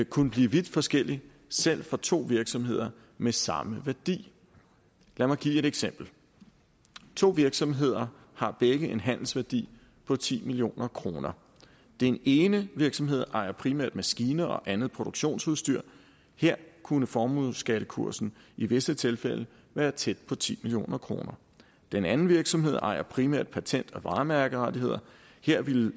kunne blive vidt forskellig selv for to virksomheder med samme værdi lad mig give et eksempel to virksomheder har begge en handelsværdi på ti million kroner den ene virksomhed ejer primært maskiner og andet produktionsudstyr her kunne formueskattekursen i visse tilfælde være tæt på ti million kroner den anden virksomhed ejer primært patent og varemærkerettigheder her ville